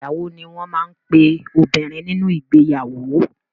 Ìyàwó ni wọ́n máa ń pe obìnrin nínú ìgbeyàwó.